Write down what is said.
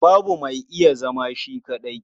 Babu mai iya zama shi kaɗai.